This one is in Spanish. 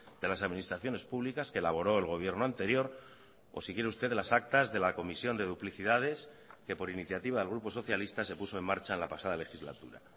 de las administraciones públicas que elaboró el gobierno anterior o si quiere usted las actas de la comisión de duplicidades que por iniciativa del grupo socialista se puso en marcha en la pasada legislatura